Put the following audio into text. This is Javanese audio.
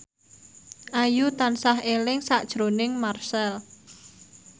Ayu tansah eling sakjroning Marchell